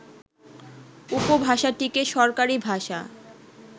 উপভাষাটিকে সরকারী ভাষা